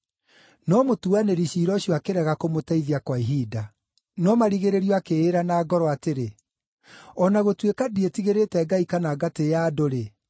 “No mũtuanĩri ciira ũcio akĩrega kũmũteithia kwa ihinda. No marigĩrĩrio akĩĩra na ngoro atĩrĩ, ‘O na gũtuĩka ndiĩtigĩrĩte Ngai kana ngatĩĩa andũ-rĩ,